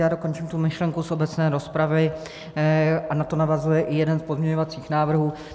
Já dokončím tu myšlenku z obecné rozpravy a na to navazuje i jeden z pozměňovacích návrhů.